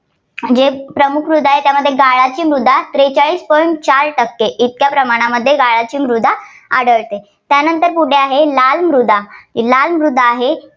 जे प्रमुख मृदा आहेत. त्यात गाळाची मृदा त्रेचाळीस point चार टक्के इतक्या प्रमाणामध्ये गाळाची मृदा आढळते. त्यानंतर पुढे आहे लाल मृदा. ही लाल मृदा आहे,